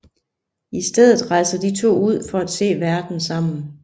I stedet rejser de to ud for at se verden sammen